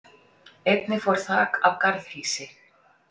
Einnig fór þak af garðhýsi